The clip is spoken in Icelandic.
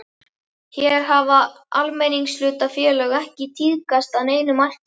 Hér hafa almenningshlutafélög ekki tíðkast að neinu marki.